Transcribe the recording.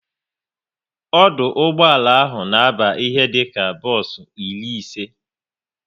Ọdụ ụgbọala ahụ na aba ihe dịka bos iri ise